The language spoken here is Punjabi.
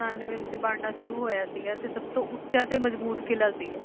ਉਨਾਨਵੇਂ ਵਿੱਚ ਬਣਨਾ ਸ਼ੁਰੂ ਹੋਇਆ ਸੀਗਾ, ਤੇ ਸਭ ਤੋਂ ਉੱਚਾ ਤੇ ਮਜ਼ਬੂਤ ਕਿਲ੍ਹਾ ਸੀਗਾ।